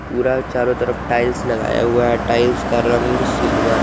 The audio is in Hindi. पूरा चारों तरफ टाइल्स लगाया हुआ है टाइल्स का रंग सिल्वर है।